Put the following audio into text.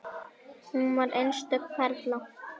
Hún var einstök perla.